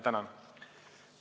Tänan!